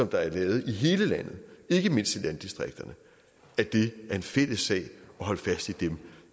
der er lavet i hele landet ikke mindst i landdistrikterne er en fælles sag at holde fast i